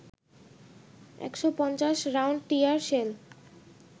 ১৫০ round tear shell